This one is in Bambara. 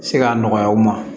Se ka nɔgɔya u ma